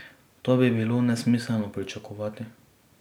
To bi bilo nesmiselno pričakovati.